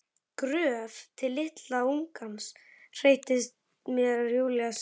Gröf litla ungans, heyrist mér Júlía segja.